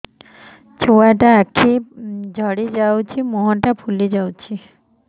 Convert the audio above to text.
ଛୁଆଟା ଆଖି ଜଡ଼ି ଯାଉଛି ମୁହଁ ଫୁଲି ଯାଉଛି